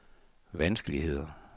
vanskeligheder